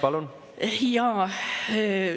Palun!